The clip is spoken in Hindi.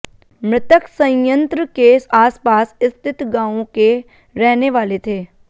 मृतक संयंत्र के आसपास स्थित गांवों के रहने वाले थे